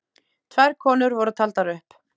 Tvær konur voru taldar upp.